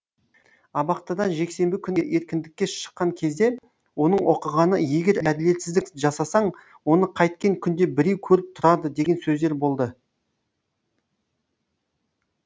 абақтыдан жексенбі күні еркіндікке шыққан кезде оның оқығаны егер әділетсіздік жасасаң оны қайткен күнде біреу көріп тұрады деген сөздер болды